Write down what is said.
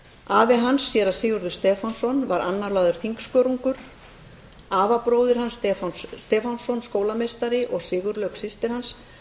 afi hans séra sigurður stefánsson var annálaður þingskörungur afabróðir hans stefán stefánsson skólameistari og sigurlaug systir hans